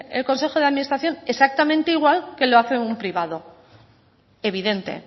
el consejo de administración exactamente igual que lo hace un privado evidente